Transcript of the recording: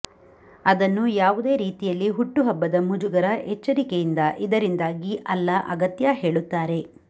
ಅದನ್ನು ಯಾವುದೇ ರೀತಿಯಲ್ಲಿ ಹುಟ್ಟುಹಬ್ಬದ ಮುಜುಗರ ಎಚ್ಚರಿಕೆಯಿಂದ ಇದರಿಂದಾಗಿ ಅಲ್ಲ ಅಗತ್ಯ ಹೇಳುತ್ತಾರೆ